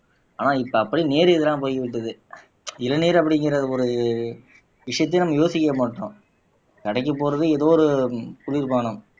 ஆனா இப்ப அப்படி நேர் எதிரா போய்விட்டது இளநீர் அப்படிங்கிற ஒரு விஷயத்தையே நம்ம யோசிக்கவே மாட்டோம் கடைக்கு போறது ஏதோ ஒரு குளிர்பானம்